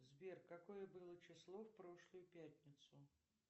сбер какое было число в прошлую пятницу